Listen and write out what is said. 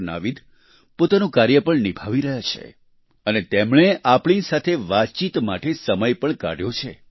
નાવીદ પોતાનું કાર્ય પણ નિભાવી રહ્યા છે અને તેમણે આપણી સાથે વાતચીત માટે સમય પણ કાઢ્યો છે